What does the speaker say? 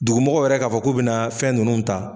Dugumɔgɔw yɛrɛ k'a fɔ k'u bena fɛn nunnu ta